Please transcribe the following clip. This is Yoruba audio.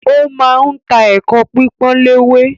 Ó ma ń ta “ ẹ̀kọ pípọ́n léwé ”